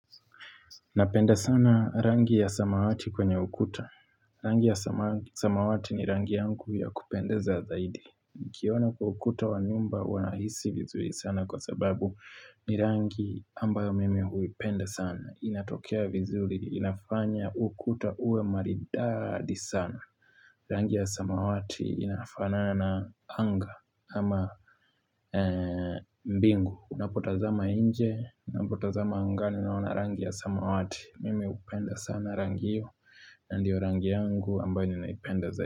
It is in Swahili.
Napenda sana rangi ya samawati kwenye ukuta. Rangi ya samawati ni rangi yangu ya kupendeza zaidi. Nikiona kwa ukuta wa nyumba huwa nahisi vizuri sana kwa sababu ni rangi ambayo mimi huipenda sana. Inatokea vizuri, inafanya ukuta uwe maridadi sana. Rangi ya samawati inafanana na anga ama mbingu. Unapotazama inje, unapotazama angani unaona rangi ya samawati. Mimi upenda sana rangi iyo na ndio rangi yangu ambayo ninaipenda za.